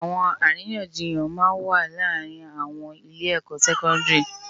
Etó árinyánjiyán má n wá làárin âwòn ilé èkò sèkòndiri